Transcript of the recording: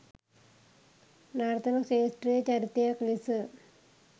නර්තන ක්ෂේත්‍රයේ චරිතයක් ලෙස